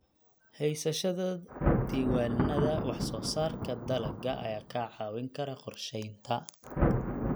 Haysashada diiwaannada wax soo saarka dalagga ayaa kaa caawin kara qorsheynta.